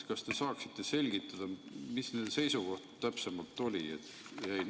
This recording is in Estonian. Kas te saaksite selgitada, mis nende seisukoht täpsemalt oli?